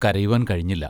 കരയുവാൻ കഴിഞ്ഞില്ല.